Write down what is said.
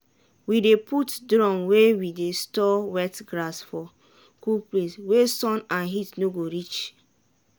we dey put drum wey we store wet grass for cool place wey sun and heat no dey reach.